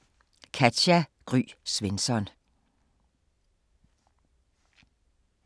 Af Katja Gry Svensson